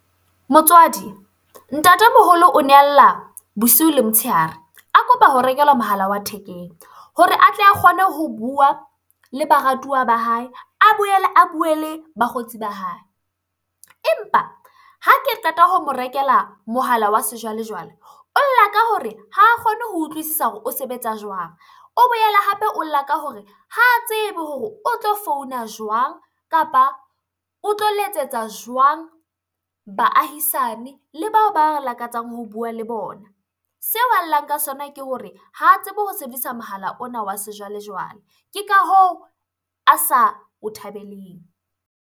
Motswadi, ntatemoholo o ne a lla bosiu le motshehare a kopa ho rekelwa mohala wa thekeng hore atle a kgone ho bua le baratuwa ba hae, a boele a bue le bakgotsi ba hae. Empa ha ke qeta ho mo rekela mohala wa sejwalejwale, o lla ka hore ha kgone ho utlwisisa hore o sebetsa jwang? O boele hape o lla ka hore ha tsebe hore o tlo founa jwang? Kapa o tlo letsetsa jwang baahisane le bao ba lakatsang ho bua le bona? Seo a llang ka sona ke hore ha tsebe ho sebedisa mohala ona wa sejwalejwale, ke ka hoo a sa o thabeleng.